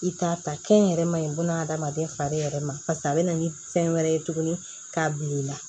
I t'a ta kɛnyɛrɛma ye buna adamaden fari yɛrɛ ma paseke a be na ni fɛn wɛrɛ ye tuguni k'a bil'i la